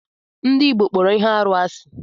Ndị Igbo kpọrọ ihe arụ asị.